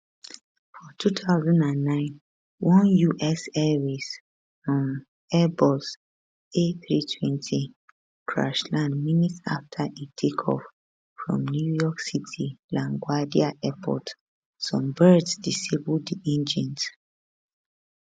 for 2009 one us airways um airbus a320 crash land minutes afta e take off from new york city laguardia airport some birds disable di engines